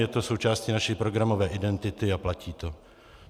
Je to součástí naší programové identity a platí to.